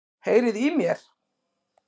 Heyriði í mér?